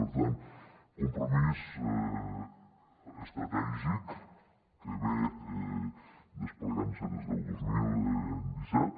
per tant compromís estratègic que es desplega des del dos mil disset